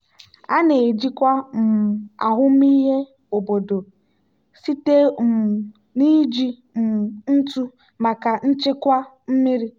a na-ejikwa um ahụmịhe obodo site um na iji um ntụ maka nchekwa mmiri.